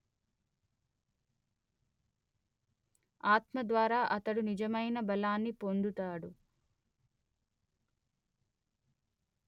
ఆత్మద్వారా అతడు నిజమైన బలాన్ని పొందుతాడు